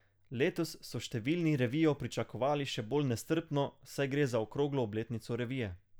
Letos so številni revijo pričakovali še bolj nestrpno, saj gre za okroglo obletnico revije.